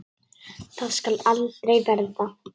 Það skal aldrei verða!